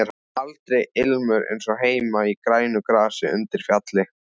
Aldrei ilmur eins og heima í grænu grasi undir fjalli.